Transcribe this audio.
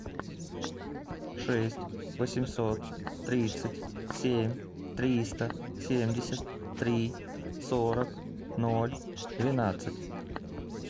шесть восемьсот тридцать семь триста семьдесят три сорок ноль двенадцать